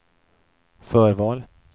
förval